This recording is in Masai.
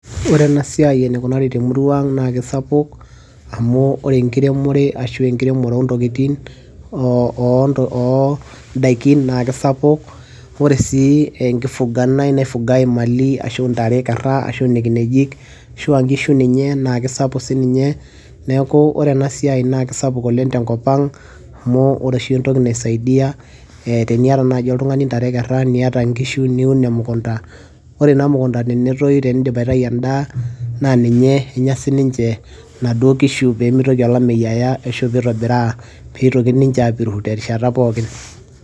ore ena siai enikunari temurua ang naa kisapuk amu ore enkiremore ashu enkiremore ontokitin, ondaikin naa kisapuk ore sii enkifuganae naifugae imali ashu intare ekerra ashu ine kinejik ashua nkishu ninye naa kisapuk sininye neeku ore ena siai naa kisapuk oleng tenkop ang amu ore oshi entoki naisaidia eteniata naaji oltung'ani intare ekerra niata nkishu niun emukunta ore ina mukunta tenetoyu tenindip aitayu endaa naa ninye enya sininche naduo kishu pee mitoki olameyu aya ashu pitobiraa pitoki ninche apiru terishata pookin.